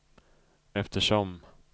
eftersom